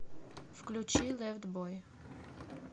включи лэфт бой